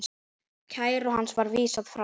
Kæru hans var vísað frá.